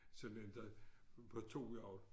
Sådan én der på 2 hjul